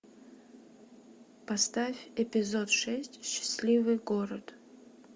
поставь эпизод шесть счастливый город